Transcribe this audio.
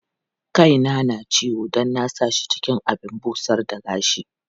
Kaina na ciwo don na sa shi cikin abin busar da gashi.